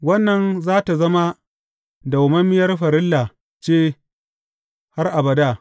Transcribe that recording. Wannan za tă zama dawwammamiyar farilla ce har abada.